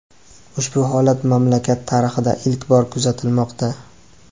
Ushbu holat mamlakat tarixida ilk bor kuzatilmoqda.